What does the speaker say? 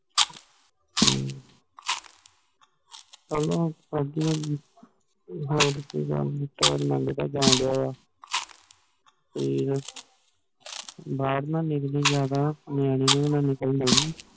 ਹਮ ਚਲੋ ਵਦੀਆਂ ਕਿਥੇ ਜਾਨ ਦੀ ਤਿਆਰੀ ਕਿਥੇ ਜਾਂ ਦਯਾ ਵਾ ਠੀਕ ਆ ਬਾਰ ਨਾ ਨਿਕਲੀ ਜਾਂਦਾ ਨਿਆਣੇ ਨੂੰ ਵੀ ਨਾ ਨਿਕਲਣ ਦਯਿ